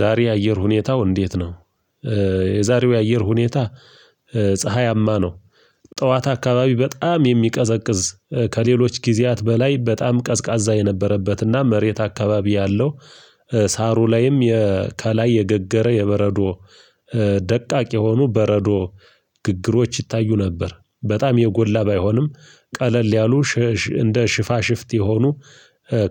ዛሬ የአየር ሁኔታው እንዴት ነው? የዛሬው የአየር ሁኔታ ፀሀያማ ነው። ጠዋት አካባቢ በጣም የሚቀዘቅዝ ከሌሎች ጊዜያት በላይ በጣም ቀዝቃዛ የነበረበትና መሬት አካባቢ ያለው ሳሩ ላይም ከላይ የገገረ የበረዶ ደቃቅ የሆኑ በረዶ ግግሮች ይታዩ ነበር። በጣም የጎላ ባይሆንም ቀለል ያሉ እንደ ሽፋሽፍት የሆኑ